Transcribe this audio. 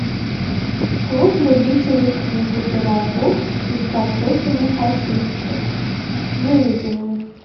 клуб любителей книг и пирогов из картофельных очистков выведи мне